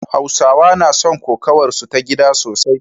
Hausawa na son kokawarsu ta gida sosai